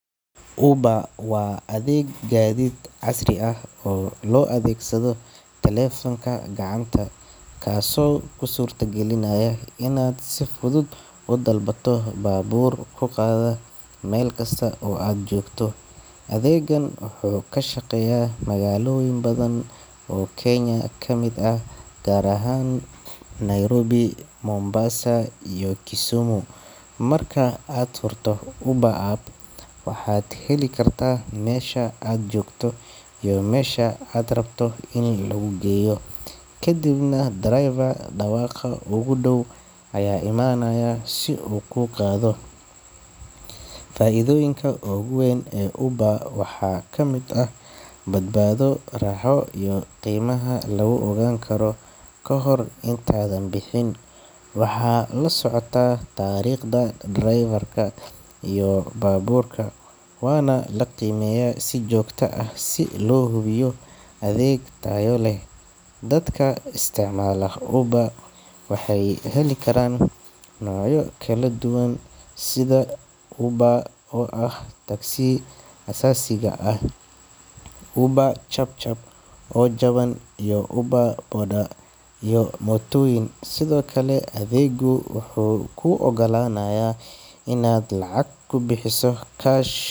Uber waa adeeg gaadiid casri ah oo loo adeegsado taleefanka gacanta, kaasoo kuu suurtagelinaya inaad si fudud u dalbato baabuur ku qaada meel kasta oo aad joogto. Adeeggan wuxuu ka shaqeeyaa magaalooyin badan oo Kenya ka mid ah, gaar ahaan Nairobi, Mombasa, iyo Kisumu. Marka aad furto Uber app, waxaad geli kartaa meesha aad joogto iyo meesha aad rabto in laguu geeyo, kadibna driver dhawaaqa ugu dhow ayaa imaanaya si uu kuu qaado. Faa'iidooyinka ugu weyn ee Uber waxaa ka mid ah badbaado, raaxo, iyo in qiimaha lagu ogaan karo kahor intaadan bixin. Waxaa la socota taariikhda driver-ka iyo baabuurka, waana la qiimeeyaa si joogto ah si loo hubiyo adeeg tayo leh. Dadka isticmaala Uber waxay heli karaan noocyo kala duwan sida UberX oo ah adeegga aasaasiga ah, UberChapChap oo jaban, iyo UberBoda oo ah mootooyin. Sidoo kale, adeeggu wuxuu kuu ogolaanayaa inaad lacag ku bixiso cash.